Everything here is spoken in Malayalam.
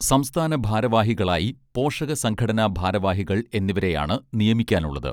സംസ്ഥാന ഭാരവാഹികളായി പോഷക സംഘടനാ ഭാരവാഹികൾ എന്നിവരെയാണ് നിയമിക്കാനുള്ളത്